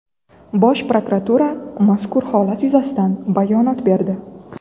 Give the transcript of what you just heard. Bosh prokuratura mazkur holat yuzasidan bayonot berdi.